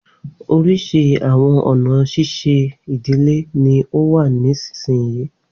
Oríṣi awọn ọna ṣiṣe idile ni ó wà nisinyi